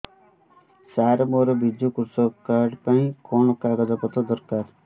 ସାର ମୋର ବିଜୁ କୃଷକ କାର୍ଡ ପାଇଁ କଣ କାଗଜ ପତ୍ର ଦରକାର